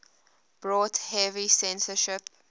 brought heavy censorship